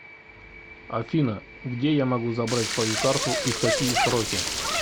афина где я могу забрать свою карту и в какие сроки